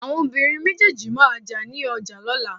awọn obirín méjèèjì ma jà ni oja lolà